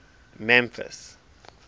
memphis